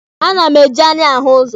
A na m eji anya m ahụ ụzọ.